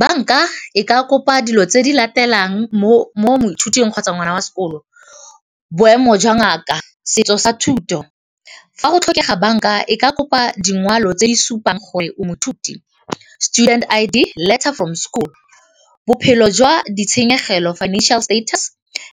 Banka e ka kopa dilo tse di latelang mo moithuting kgotsa ngwana wa sekolo, boemo jwa ngaka, setso sa thuto. Fa go tlhokega banka e ka kopa dingwalo tse di supang gore o moithuti, student I_D, letter from school, bophelo jwa ditshenyegelo, financial status,